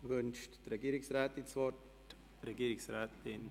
Wünscht die Regierungsrätin das Wort?